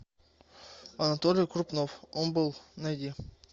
анатолий крупнов он был найди